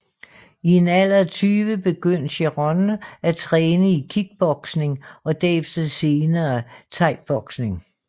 I en alder af 20 begyndte Cerrone at træne i kickboxing og derefter senere Thaiboxing